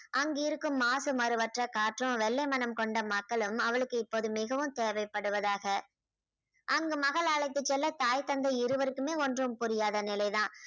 அங்கிருக்கும் மாசு மருவற்ற காற்றும் வெள்ளை மனம் கொண்ட மக்களும் அவளுக்கு இப்போது மிகவும் தேவைப்படுவதாக அங்கு மகள் அழைத்துச் செல்ல தாய் தந்தை இருவருக்குமே ஒன்றும் புரியாத நிலைதான்